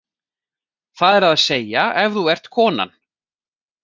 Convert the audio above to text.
Það er að segja ef þú ert konan.